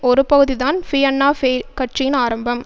ஒரு பகுதி தான் பியன்னா ஃபெயில் கட்சியின் ஆரம்பம்